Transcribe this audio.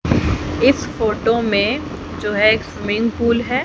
इस फोटो में जो है एक स्विमिंग पूल है।